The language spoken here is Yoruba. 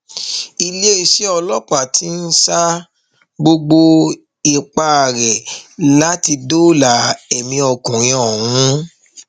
iléeṣẹ ọlọpàá ti ń sa gbogbo ipá rẹ láti dóòlà ẹmí ọkùnrin ọhún